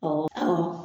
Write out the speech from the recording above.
Ɔ